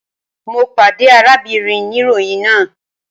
Mo pade arábìnrin niroyin náà